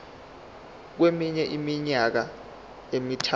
kweminye iminyaka emithathu